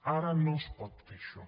ara no es pot fer això